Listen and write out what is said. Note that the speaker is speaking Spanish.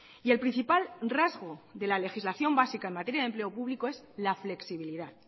y el principal rasgo de la legislación básica en materia de empleo público es la flexibilidad